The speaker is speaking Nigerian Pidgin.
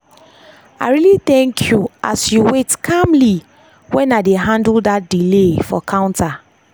i really thank you as you wait calmly when i dey handle dat delay for counter.